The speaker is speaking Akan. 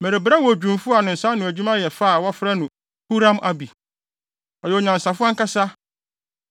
“Merebrɛ wo odwumfo a ne nsa ano adwuma yɛ fɛ a wɔfrɛ no Huram-Abi. Ɔyɛ onyansafo ankasa